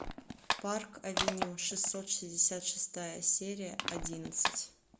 парк авеню шестьсот шестьдесят шестая серия одиннадцать